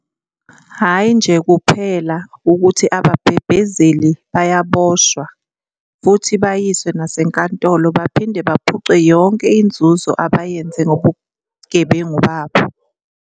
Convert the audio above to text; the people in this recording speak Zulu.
Hhayi nje kuphela ukuthi ababhebhezeli bayaboshwa futhi bayiswe nasenkantolo, baphinde baphucwe yonke inzuzo abayenze ngobugebengu babo.